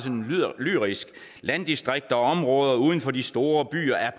lyrisk at landdistrikter og områder uden for de store byer er